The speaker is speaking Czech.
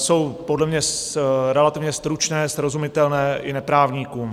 Jsou podle mě relativně stručné, srozumitelné i neprávníkům.